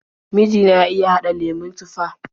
Miji na ya iya haɗa lemon tufah.